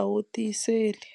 a wu tiyiseli.